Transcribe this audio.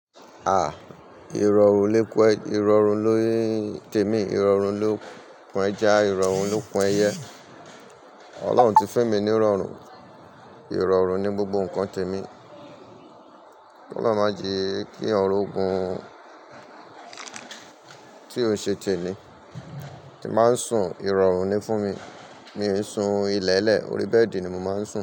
À, ìrọ̀rún ló kún ẹ, ìrọ̀rú ló ń tẹ mí, ìrọ̀rú ló kún ẹja, ìrọ̀rú ló kún ẹyẹ. Ọlọ́run ti fún mi ní ìrọ̀rún Ìrọ̀rún ni gbogbo nǹkan tẹ mí. Ó máa ń jí kí ọrùn gun tí ó ṣe tẹmi. Ti máa ń sun ìrọ̀rún ni fún mi. Mi ò i sun ilẹ̀lẹ́, orí bẹ́ẹ̀dì ni mo máa ń sun.